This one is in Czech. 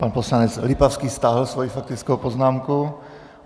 Pan poslanec Lipavský stáhl svoji faktickou poznámku.